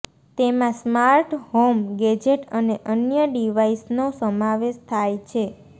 તેમાં smart home gadget અને અન્ય ડિવાઇસનો સમાવેશ થાય છે